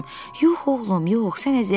Yox oğlum, yox, sən əziyyət çəkmə.